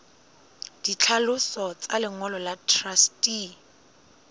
ditlhaloso tsa lengolo la truste